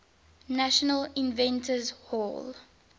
national inventors hall